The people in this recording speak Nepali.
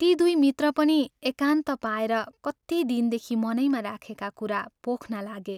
ती दुइ मित्र पनि एकान्त पाएर कति दिनदेखि मनैमा राखेका कुरा पोख्न लागे।